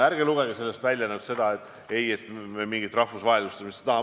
Ärge lugege nüüd sellest välja, et me mingit rahvusvahelistumist ei taha.